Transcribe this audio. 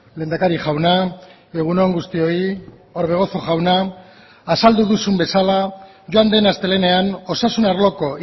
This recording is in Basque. lehendakari jauna egun on guztioi orbegozo jauna azaldu duzun bezala joan den astelehenean osasun arloko